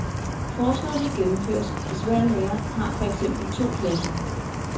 Forslaget kan gennemføres, hvis hver lærer har for eksempel to klasser.